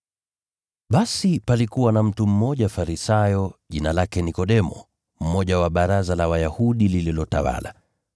Basi palikuwa na mtu mmoja Farisayo, jina lake Nikodemo, mmoja wa Baraza la Wayahudi lililotawala.